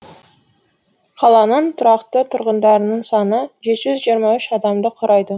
қаланың тұрақты тұрғындарының саны жеті жүз жиырма үш адамды құрайды